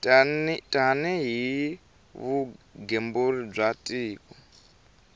tani hi vugembuli bya tiko